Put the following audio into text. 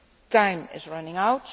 Time is running